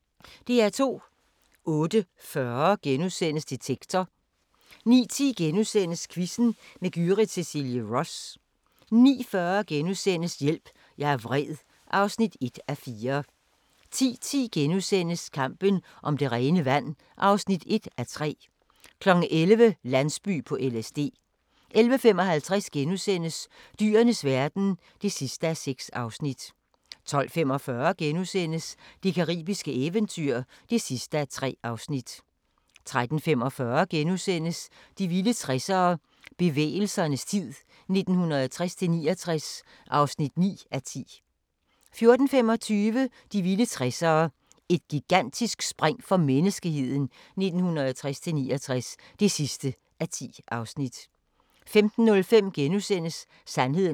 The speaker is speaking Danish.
08:40: Detektor * 09:10: Quizzen med Gyrith Cecilie Ross * 09:40: Hjælp, jeg er vred (1:4)* 10:10: Kampen om det rene vand (1:3)* 11:00: Landsby på LSD 11:55: Dyrenes verden (6:6)* 12:45: Det caribiske eventyr (3:3)* 13:45: De vilde 60'ere: Bevægelsernes tid 1960-69 (9:10)* 14:25: De vilde 60'ere: Et gigantisk spring for menneskeheden 1960-69 (10:10) 15:05: Sandheden om kulhydrater *